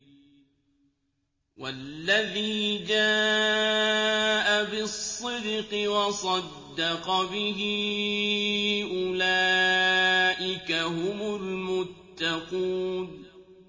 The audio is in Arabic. وَالَّذِي جَاءَ بِالصِّدْقِ وَصَدَّقَ بِهِ ۙ أُولَٰئِكَ هُمُ الْمُتَّقُونَ